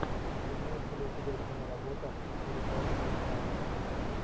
имеется ли у тебя киноработа в стиле короткометражки